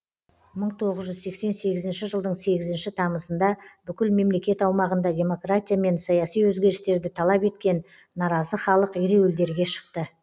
мың тоғыз жүз сексен сегізінші жылдың сегізінші тамызында бүкіл мемлекет аумағында демократия мен саяси өзгерістерді талап еткен наразы халық ереуілдерге шықты